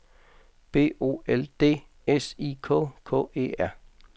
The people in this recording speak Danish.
B O L D S I K K E R